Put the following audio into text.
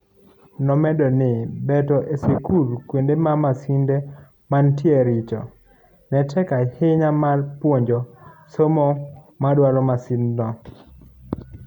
Nomedo ni bet e sikul kuonde ma masinde mantie richo, netek ahinya mar puonjo somo madwar masindno.